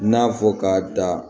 N'a fɔ ka da